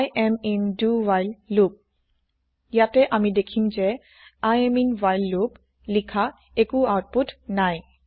I am in do while loop ইয়াতে আমি দেখিম যে I am in while loop লিখা একো আওতপুত নাই